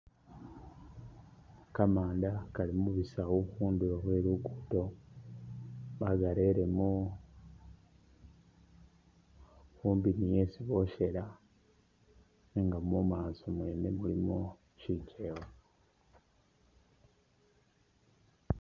Kamanda kali mubisawu khundulo khwe lugudo bakarelemo khumpi ni khesi boshela nga mumaso mwene mulimo shikyewa.